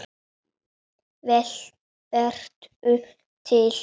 Vertu til.